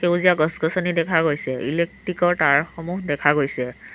সেউজীয়া গছ-গছনি দেখা গৈছে ইলেকট্ৰিকৰ তাঁৰসমূহ দেখা গৈছে।